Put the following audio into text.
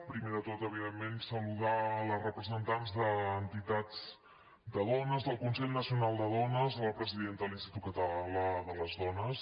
primer de tot evidentment salu·dar les representants d’entitats de dones del consell nacional de dones la presidenta de l’institut català de les dones